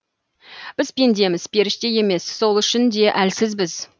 біз пендеміз періште емес сол үшін де әлсізбіз